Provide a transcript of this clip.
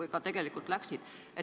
või ka tegelikult kinni pandi.